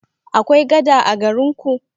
Akwai gada a garin ku?